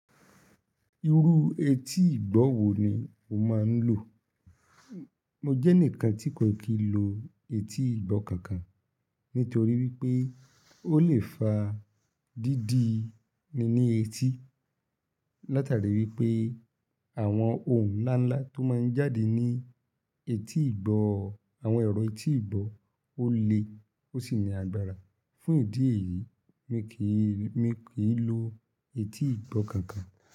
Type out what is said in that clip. Irú etí ìgbọ́ wo ni o máa ń lò? Mo jẹ́ enikan tí kò kí n lo etí ìgbọ́ kankan nítorí wípé ó lè fa dídi níní etí. Látàrí wípé àwọn ohun ńlá ńlá tó máa ń jáde ní etí ìgbọ́, àwọn ẹ̀rọ etí ìgbọ́ ó le ó sì ní agbára. Fún ìdí èyí, mí kì í, mí kì í lo etí ìgbọ́ kankan.